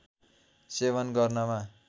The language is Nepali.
सेवन गर्नमा